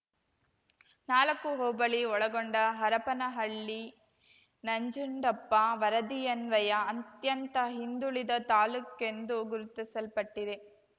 ನಾಲಕ್ಕು ಹೋಬಳಿ ಒಳಗೊಂಡ ಹರಪನಹಳ್ಳಿ ನಂಜುಂಡಪ್ಪ ವರದಿಯನ್ವಯ ಅತ್ಯಂತ ಹಿಂದುಳಿದ ತಾಲೂಕೆಂದು ಗುರುತಿಸಲ್ಪಟ್ಟಿದೆ